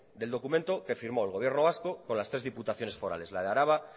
del documento que firmó el gobierno vasco con las tres diputaciones forales la de álava